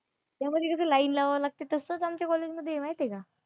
त्यामध्ये कसं लाईन लावावी लागते तसंच आमच्या कॉलेज मध्ये आहे माहिती आहे का?